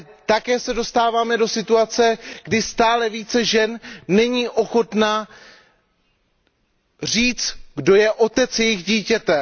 Také se dostáváme do situace, kdy stále více žen není ochotných říct, kdo je otcem jejich dítěte.